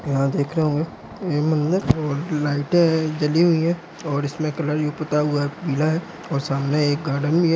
यहाँ देख रहे होंगे ये मंदिर और लाइटें हैं | जली हुई हैं और इसमें कलर भी पुता हुआ है पीला है और सामने एक गार्डन भी है।